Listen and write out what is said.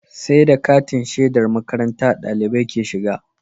Sai da katin shedar makarantar ɗalibai ke shiga